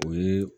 O ye